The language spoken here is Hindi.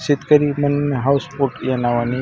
शेतकरी मन हाऊस स्पोर्ट ह्या नावानी --